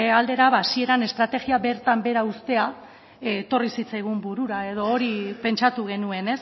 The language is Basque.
aldera hasieran estrategia bertan behera uztera etorri zitzaigun burura edo hori pentsatu genuen